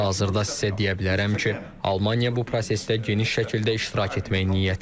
Hazırda sizə deyə bilərəm ki, Almaniya bu prosesdə geniş şəkildə iştirak etmək niyyətindədir.